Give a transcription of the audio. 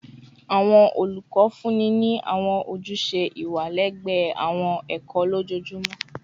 Awọn olukọ funni ni awọn ojuse iwa lẹgbẹẹ awọn ẹkọ ẹkọ lojoojumọ